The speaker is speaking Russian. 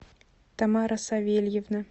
тамара савельевна